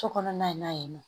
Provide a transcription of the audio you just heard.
So kɔnɔna in na yen nɔ